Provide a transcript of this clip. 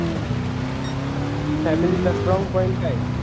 तुमचा family चा strong point काय आहे